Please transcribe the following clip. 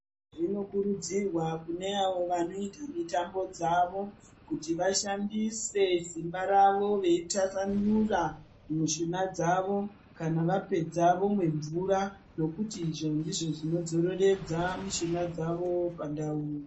Zvinokurudzirwa kune avo vanoita mitambo dzavo kuti vashandise simba ravo veitasanura mushuna dzavo kana vapedza vomwe mvura nokuti izvi ndizvo zvinodzoreredza mushuna dzavo pandau.